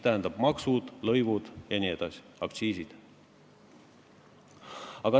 Tähendab, maksud, lõivud, aktsiisid jne.